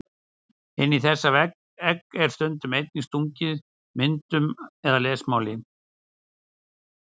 Inn í þessi egg var stundum einnig stungið myndum eða lesmáli.